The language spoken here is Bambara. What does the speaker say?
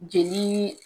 Jeli